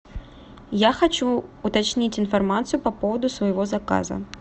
я хочу уточнить информацию по поводу своего заказа